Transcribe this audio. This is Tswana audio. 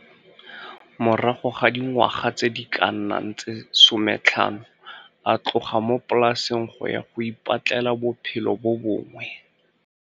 Morago ga dingwaga tse di ka nnang tse 15 a tloga mo polaseng go ya go ipatlela bophelo bo bongwe.